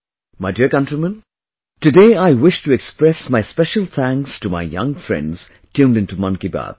My dear countrymen, today I wish to express my special thanks to my young friends tuned in to Mann ki Baat